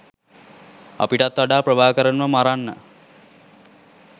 අපිටත් වඩා ප්‍රභාකරන්ව මරන්න